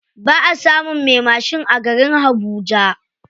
Baʼa samun me mashin a garin habuja.